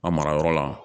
A mara yɔrɔ la